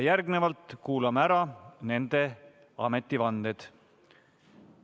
Järgnevalt kuulame ära nende ametivanded.